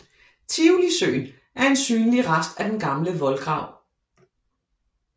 Tivolisøen er en synlig rest af den gamle voldgrav